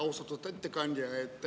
Austatud ettekandja!